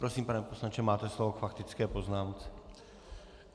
Prosím, pane poslanče, máte slovo k faktické poznámce.